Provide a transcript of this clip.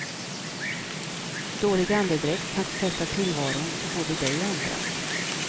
Dålig andedräkt kan förpesta tillvaron för både dig och andra.